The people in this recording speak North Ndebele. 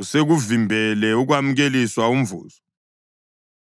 usekuvimbele ukwamukeliswa umvuzo.”